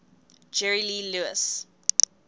jerry lee lewis